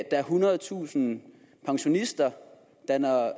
er ethundredetusind pensionister der når